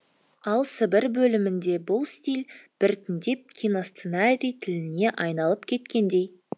ал сібір бөлімінде бұл стиль біртіндеп киносценарий тіліне айналып кеткендей